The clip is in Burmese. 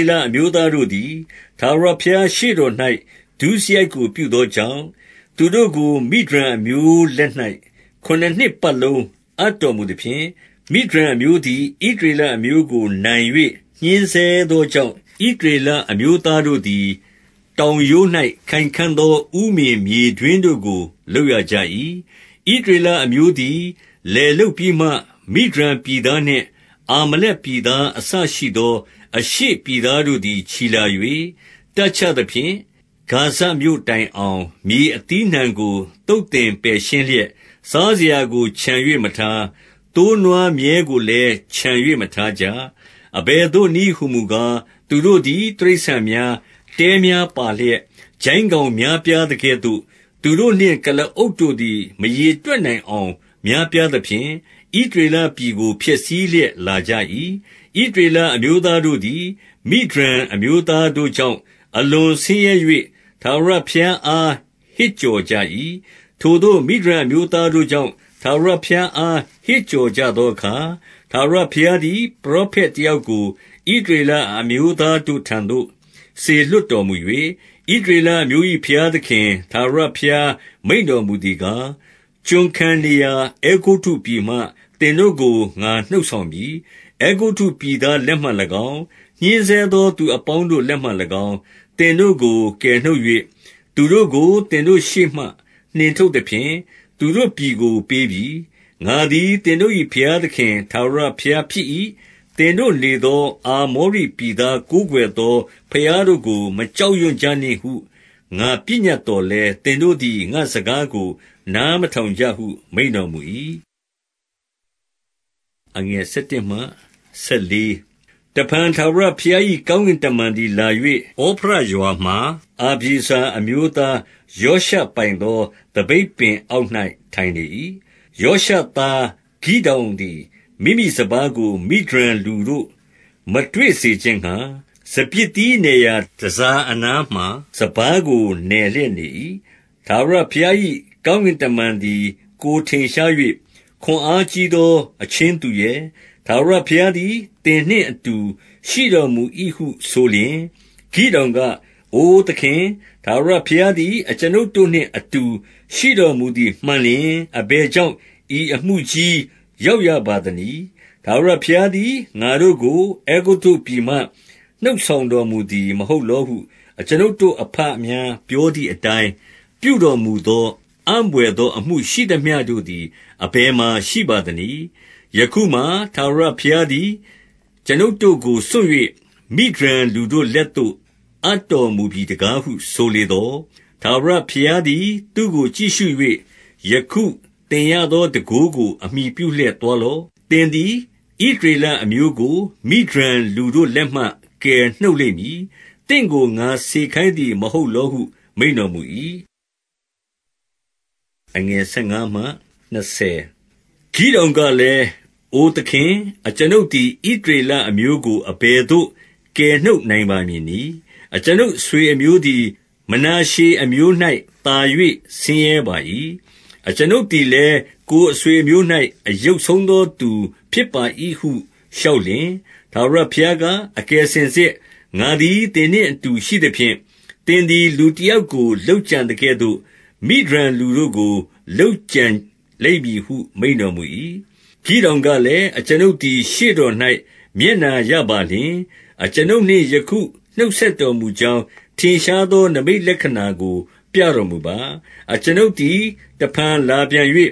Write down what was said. ေလအမျိုးသားတို့သည် ထာဝရဘုရားရှေ့တော်၌ ဒုစရိုက်ကို ပြုသောကြောင့်၊ သူတို့ကို မိဒျန်အမျိုးလက်၌ ခုနစ်နှစ်ပတ်လုံးအပ်တော်မူသဖြင့်၊ 2 မိဒျန်အမျိုးသည် ဣသရေလအမျိုးကို နိုင်၍ ညှဉ်းဆဲသောကြောင့်၊ ဣသရေလအမျိုးသားတို့သည် တောင်ရိုး၌ ခိုင်ခံ့သော ဥမင်မြေတွင်းတို့ကို လုပ်ရကြ၏။ 3 ဣသရေလအမျိုးသည် လယ်လုပ်ပြီးမှ၊ မိဒျန်ပြည်သားနှင့် အာမလက်ပြည်သားအစရှိသော အရှေ့ ပြည်သားတို့သည် ချီလာ၍၊ 4 တပ်ချသဖြင့်၊ ဂါဇမြို့တိုင်အောင် မြေအသီးအနှံကို သုတ်သင်ပယ်ရှင်းလျက် စားစရာကို ချန်၍မထား။ သိုးနွားမြည်းကိုလည်း ချန်၍ မထားကြ။ 5 အဘယ်သို့နည်းဟူမူကား၊ သူတို့သည် တိရစ္ဆာန်များ၊ တဲများပါလျက်၊ ကျိုင်းကောင်များပြားသကဲ့သို့၊ သူတို့နှင့် ကုလားအုပ်တို့သည် မရေတွက်နိုင်အောင် များပြားသဖြင့် ဣသရေလပြည်ကို ဖျက်ဆီးလျက် လာကြ၏။ 6 ဣသရေလအမျိုးသားတို့သည် မိဒျန်အမျိုးသားတို့ကြောင့် အလွန်ဆင်းရဲ၍ ထာဝရဘုရားအား ဟစ်ကြော်ကြ၏။ 7 ထိုသို့ မိဒျန်အမျိုးသားတို့ကြောင့်၊ ထာဝရဘုရားအား ဟစ်ကြော်ကြသောအခါ၊ 8 ထာဝရဘုရားသည် ပရောဖက်တယောက်ကို ဣသရေလအမျိုးသားတို့ထံသို့ စေလွှတ်တော်မူ၍၊ ဣသရေလအမျိုး၏ ဘုရားသခင်ထာဝရဘုရား မိန့်တော်မူသည်ကား၊ ကျွန်ခံနေရာ အဲဂုတ္တုပြည်မှ သင်တို့ကို ငါနှုတ်ဆောင်ပြီ။ 9 အဲဂုတ္တုပြည်သားလက်မှ၎င်း၊ ညှဉ်းဆဲသောသူအပေါင်းတို့လက်မှ၎င်း၊ သင်တို့ကို ကယ်နှုတ်၍၊ သူတို့ကို သင်တို့ရှေ့မှ နှင်ထုတ်သဖြင့် သူတို့ပြည်ကို ပေးပြီ။ 10 ငါသည် သင်တို့၏ ဘုရားသခင် ထာဝရဘုရားဖြစ်၏။ သင်တို့နေသော အာမောရိပြည်သား ကိုးကွယ် သော ဘုရားတို့ကို မကြောက်ရွံ့ကြနှင့်ဟု ငါပညတ်သော်လည်း၊ သင်တို့သည် ငါ့စကားကို နားမထောင် ကြဟု မိန့်တော်မူ၏။ 11 တဖန် ထာဝရဘုရား၏ ကောင်းကင်တမန်သည်လာ၍၊ ဩဖရရွာမှာ အဗျေဇာအမျိုးသား ယောရှပိုင်သော သပိတ်ပင်အောက်၌ ထိုင်လေ၏။ ယောရှသား ဂိဒေါင်သည် မိမိစပါးကို မိဒျန်လူတို့ မတွေ့စေခြင်းငှါ၊ စပျစ်သီးနယ်ရာ တန်ဆာအနားမှာ စပါးကို နယ်လျက်နေ၏။ 12 ထာဝရဘုရား၏ ကောင်းကင်တမန်သည် ကိုယ်ထင်ရှား၍၊ ခွန်အားကြီးသော အချင်းသူရဲ၊ ထာဝရ ဘုရားသည် သင်နှင့်အတူ ရှိတော်မူ၏ဟု ဆိုလျှင်၊ 13 ဂိဒေါင်က၊ အိုသခင်၊ ထာဝရဘုရားသည် အကျွန်ုပ်တို့နှင့်အတူ ရှိတော်မူသည် မှန်လျှင် အဘယ်ကြောင့် ဤအမှုကြီး ရောက်ရပါသနည်း။ ထာဝရဘုရားသည် ငါတို့ကို အဲဂုတ္တုပြည်မှ နှုတ်ဆောင်တော်မူသည် မဟုတ်လောဟု အကျွန်ုပ်တို့အဘများ ပြောသည်အတိုင်း ပြုတော်မူသော၊ အံ့ဘွယ်သော အမှုရှိသမျှတို့သည် အဘယ်မှာ ရှိပါသနည်း။ ယခုမှာ ထာဝရဘုရားသည် အကျွန်ုပ်တို့ကို စွန့်၍ မိဒျန်လူတို့လက်သို့ အပ်တော်မူပြီတကားဟု ဆိုလေသော်၊ 14 ထာဝရဘုရားသည် သူ့ကို ကြည့်ရှု၍ ယခု သင်ရသော တန်ခိုးကို အမှီပြုလျှက် သွားလော့။ သင်သည် ဣသရေလအမျိုးကို မိဒျန်လူတို့လက်မှ ကယ်နှုတ်လိမ့်မည်။ သင့်ကို ငါစေခိုင်းသည် မဟုတ်လောဟု မိန့်တော်မူ၏။ 15 ဂိဒေါင်ကလည်း၊ အိုသခင်၊ အကျွန်ုပ်သည် ဣသရေလအမျိုးကို အဘယ်သို့ ကယ်နှုတ်နိုင်ပါမည်နည်း။ အကျွန်ုပ်အဆွေအမျိုးသည် မနာရှေအမျိုး၌သာ၍ ဆင်းရဲပါ၏။ အကျွန်ုပ်သည်လည်း၊ ကိုယ်အဆွေ အမျိုး၌ အယုတ်ဆုံးသော သူဖြစ်ပါ၏ဟု လျှောက်လျှင်၊ 16 ထာဝရဘုရားက၊ အကယ်စင်စစ် ငါသည် သင်နှင့် အတူရှိသဖြင့်၊ သင်သည် လူတယောက်ကို လုပ်ကြံသကဲ့သို့၊ မိဒျန်လူတို့ကို လုပ်ကြံလိမ့်မည်ဟု မိန့်တော်မူ၏။ 17 ဂိဒေါင်ကလည်း၊ အကျွန်ုပ်သည် ရှေ့တော်၌ မျက်နှာရပါလျှင် အကျွန်ုပ်နှင့် ယခုနှုတ်ဆက်တော် မူကြောင်း ထင်ရှားသော နိမိတ်လက္ခဏာကို ပြတော်မူပါ။ 18 အကျွန်ုပ်သည် တဖန်လာပြန်၍၊